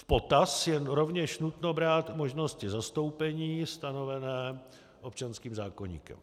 V potaz je rovněž nutno brát možnosti zastoupení stanovené občanským zákoníkem.